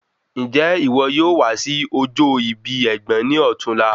Njẹ iwo yoo wa si ojo ibi ẹgbọn ni ọ̀tunla?